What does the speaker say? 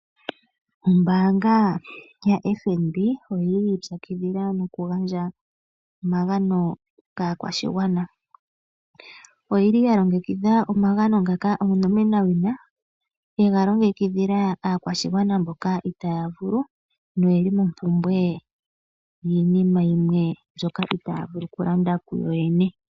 Ombaanga ya FNB oyili yi ipyakidhila noku gandja omagano kaakwashigwana. Oyili ya longekidha omagano ngaka onomenawina yega longekidhila aakwashigwana mboka itaya vulu noyeli mompumbwe yiinima yimwe mbyoka itaya vulu oku landa ku yoyene.